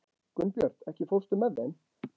Gunnbjört, ekki fórstu með þeim?